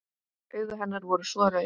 Augu hennar voru svo rauð.